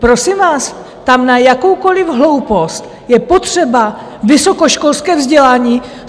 Prosím vás, tam na jakoukoliv hloupost je potřeba vysokoškolské vzdělání.